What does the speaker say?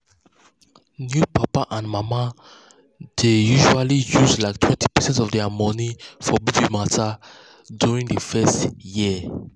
new papa and mama dey usually use like 20 percent of their money for baby matter during the first year.